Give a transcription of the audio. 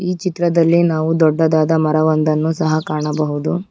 ಈ ಚಿತ್ರದಲ್ಲಿ ನಾವು ದೊಡ್ಡದಾದ ಮರ ಒಂದನ್ನು ಸಹ ಕಾಣಬಹುದು.